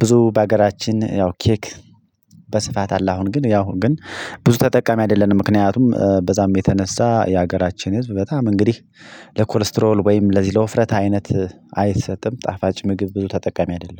ብዙ በሀገራችን ያው ኬክ በስፋት አለ። አሁን ግን ያው ግን ብዙ ተጠቃሚ አይደለንም ምክንያቱም በዛም የተነሳ የሀገራችን ህዝብ በጣም እንግዲህ ለኮሌስትሮል ወይም ለዚህ ለውፍረት አይነት አይሰጥም። ጣፋጭ ምግብ ብዙ ተጠቃሚ አይደለም